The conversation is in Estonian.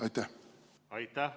Aitäh!